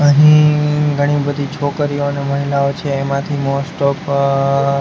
અહીં ઘણી બધી છોકરીઓને મહિલાઓ છે એમાંથી મોસ્ટ ઓફ --